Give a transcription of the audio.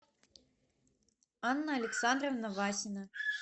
анна александровна васина